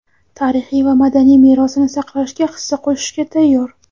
tarixiy va madaniy merosini saqlashga hissa qo‘shishga tayyor.